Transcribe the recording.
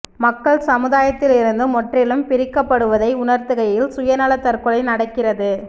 மக்கள் சமுதாயத்திலிருந்து முற்றிலும் பிரிக்கப்படுவதை உணர்கையில் சுயநல தற்கொலை நடக்கிறது